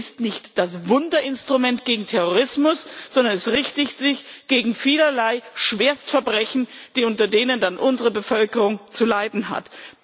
Es ist nicht das Wunderinstrument gegen Terrorismus, sondern es richtet sich gegen vielerlei Schwerstverbrechen, unter denen dann unsere Bevölkerung zu leiden hat.